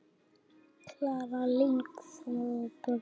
Klara, Lingþór og börn.